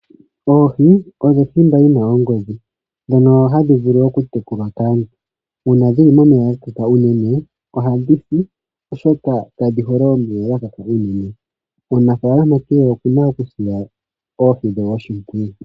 Oohi odho othimba yina ongodhi ndhono hadhi vulu oku tekulwa kaantu. Uuna dhili momeya ga kaka unene ohadhi si oshoka kadhi hole omeya ga kaka unene. Omunafaalama kehe okuna oku sila oohi dhe oshimpwiyu.